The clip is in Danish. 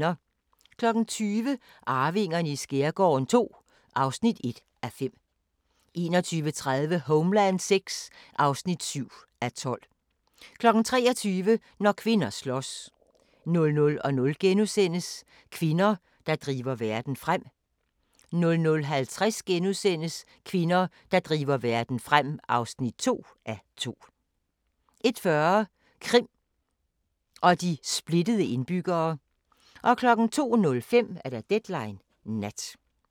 20:00: Arvingerne i skærgården II (1:5) 21:30: Homeland VI (7:12) 23:00: Når kvinder slås 00:00: Kvinder, der driver verden frem * 00:50: Kvinder, der driver verden frem (2:2)* 01:40: Krim og de splittede indbyggere 02:05: Deadline Nat